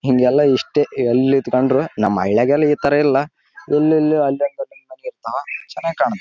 Same ಹಿಂಗೇ ಕಾಂತದ ನೋಡ್ರಿ ಯಲ್ಲ ಯಾಕಡೆ ನೋಡಿದ್ರು ಬರೇ ಬಿಲ್ಡಿಂಗ್ ಉ. ಯಲ್ಲ--